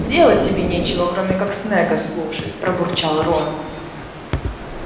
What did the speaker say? делать тебе нечего кроме как снегга слушать пробурчал рон